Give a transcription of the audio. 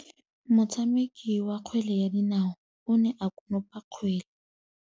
Motshameki wa kgwele ya dinaô o ne a konopa kgwele.